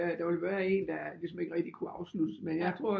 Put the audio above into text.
Der vil være en der ligesom ikke rigtig kunne afsluttes men jeg tror